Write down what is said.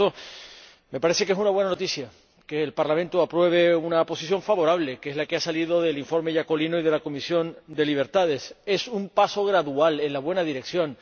Por eso me parece que es una buena noticia que el Parlamento apruebe una posición favorable, que es la que se ha obtenido en el informe Iacolino y la Comisión LIBE. Es un paso gradual en la buena dirección.